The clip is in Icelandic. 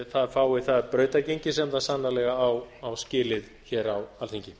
það fái það brautargengi sem það sannarlega á skilið hér á alþingi